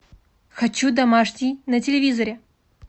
хочу домашний на телевизоре